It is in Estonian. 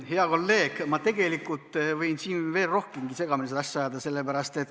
Hea kolleeg, ma võin siin veel rohkemgi seda asja segamini ajada.